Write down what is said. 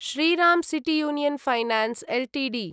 Shriram city union finance Ltd